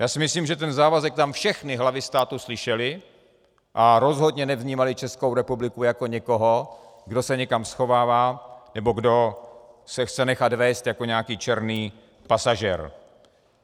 Já si myslím, že ten závazek tam všechny hlavy států slyšely a rozhodně nevnímaly Českou republiku jako někoho, kdo se někam schovává nebo kdo se chce nechat vézt jako nějaký černý pasažér.